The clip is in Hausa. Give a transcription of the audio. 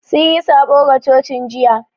Sun yi sabo ga cocin jiya